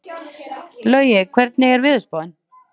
Laugi, hvernig er veðurspáin?